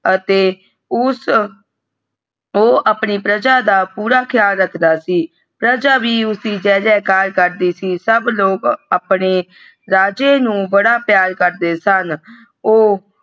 ਅਤੇ ਊ ਆਪਣੀ ਪ੍ਰਜਾ ਦਾ ਪੂਰਾ ਖ਼ਯਾਲ ਰੱਖਦਾ ਸੀ ਪ੍ਰਜਾ ਵੀ ਉਸਦੀ ਜੈ ਜੈ ਕਾਰ ਕਰਦੀ ਸੀ ਸਬ ਲੋਗ ਆਪਣੇ ਰਾਜੇ ਨੂੰ ਬੜਾ ਪਿਆਰ ਕਰਦੇ ਸੁਨ।